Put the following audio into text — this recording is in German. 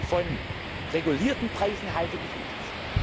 spielen. Von regulierten Preisen halte ich